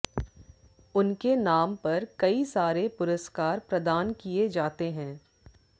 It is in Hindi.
उनके नाम पर कई सारे पुरस्कार प्रदान किए जाते हैं